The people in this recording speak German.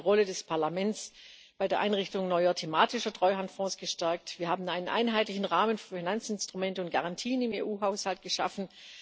Wir haben die Rolle des Parlaments bei der Einrichtung neuer thematischerTreuhandfonds gestärkt, wir haben einen einheitlichen Rahmen für Finanzinstrumente und Garantien im EU Haushalt geschaffen.